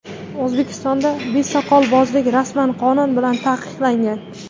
O‘zbekistonda besoqolbozlik rasman qonun bilan taqiqlangan.